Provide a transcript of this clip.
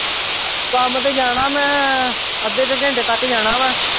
ਕੰਮ ਤੇ ਜਾਣਾ ਮੈਂ ਅੱਧੇ ਕੁ ਘੰਟੇ ਤੱਕ ਜਾਣਾ ਵਾਂ।